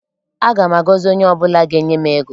Aga m agọzi onye ọ bụla ga-enye m ego.